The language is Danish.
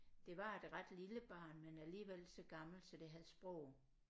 Det var et ret lille barn men alligevel så gammelt så det havde sprog